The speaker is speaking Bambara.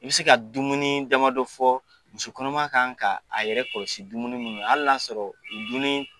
I bɛ se ka dumuni dama dɔ fɔ, musokɔnɔma kan ka a yɛrɛ kɔlɔsi dumuni minnu na al' na y'a sɔrɔ dumuniii